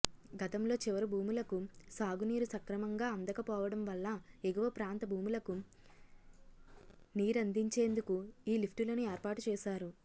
గతంలో చివరి భూములకు సాగునీరు సక్రమంగా అందకపోవడంవల్ల ఎగువ ప్రాంత భూములకు నీరందించేందుకు ఈ లిఫ్టులను ఏర్పాటుచేశారు